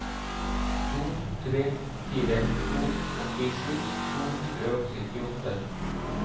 to tre fire to åttisju to hundre og syttiåtte